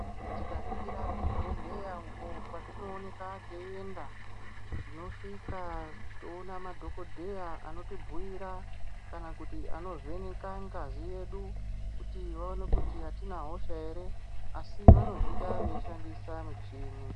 Tikaringira kuzvibhedhlera uko kwetinopota teyienda, tinoona kuti tinosvika toona madhogodheya, otibhuyira kana kuti anovheneka ngazi yedu kuti vaone kuti hatina hosha here, asi vanozviita veishandisa micheni.